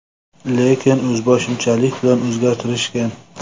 Lekin o‘zboshimchalik bilan o‘zgartirishgan.